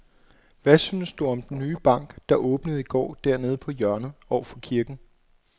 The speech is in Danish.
Hvad synes du om den nye bank, der åbnede i går dernede på hjørnet over for kirken?